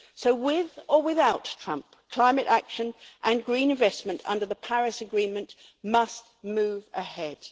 So, with or without Trump, climate action and green investment under the Paris Agreement must move ahead.